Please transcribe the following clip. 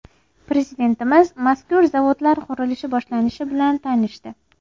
Prezidentimiz mazkur zavodlar qurilishi boshlanishi bilan tanishdi.